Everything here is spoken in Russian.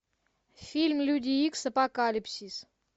фильм люди икс апокалипсис